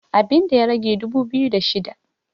abinda ya rage dubu biyu da shida